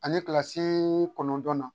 Ani kilasi kɔnɔntɔnnan na